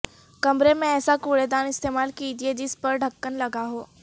کمرے میں ایسا کوڑے دان استعمال کیجیے جس پر ڈھکن لگا ہو